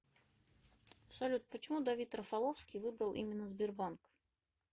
салют почему давид рафаловский выбрал именно сбербанк